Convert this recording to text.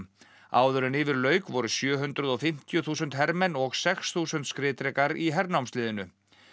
áður en yfir lauk voru sjö hundruð og fimmtíu þúsund hermenn og sex þúsund skriðdrekar í hernámsliðinu